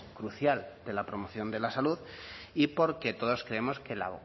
crucial de la promoción de la salud y porque todos creemos que la